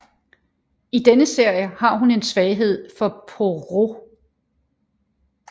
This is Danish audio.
I denne serie har hun en svaghed for Poirot